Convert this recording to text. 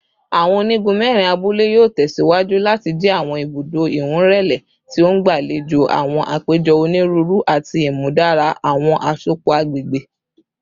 Awọn onigun mẹrin abule yoo tẹsiwaju lati jẹ awọn ibudo iwunlere ti o ngbalejo awọn apejọ oniruuru ati imudara awọn asopọ agbegbe